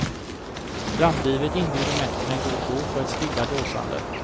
Strandlivet inbjuder mest till en god bok och ett stilla dåsande.